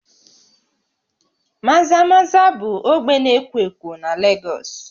Maza-Maza bụ ogbe na-ekwo ekwo na Lagos